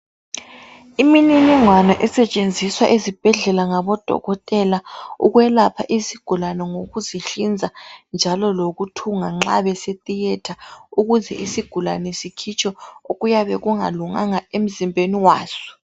Imininingwana esetshenziswa ezibhedlela ngabodokotela ukwelapha izigulane, ngokuzihlinza njalo lokuthunga nxa besetheatre ukuze isigulane sikhitshwe okuyabe kungalunganga emzimbeni waso.